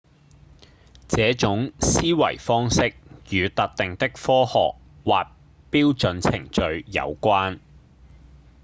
這種思維方式與特定的科學或標準程序有關